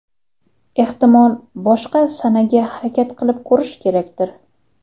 Ehtimol, boshqa sanaga harakat qilib ko‘rish kerakdir?